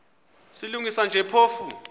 silungisa nje phofu